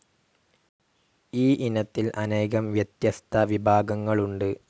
ഈ ഇനത്തിൽ അനേകം വ്യത്യസ്ത വിഭാഗങ്ങളുണ്ട്.